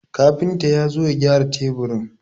Kafinta ya zo ya gyara teburin.